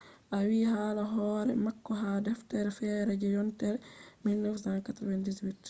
o windi hala hore mako ha deftere fere je yontere 1998